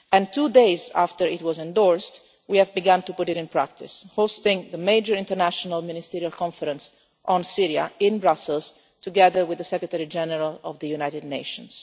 Two days after it was endorsed, we have begun to put it into practice hosting the major international Ministerial conference on Syria in Brussels, together with the Secretary General of the United Nations.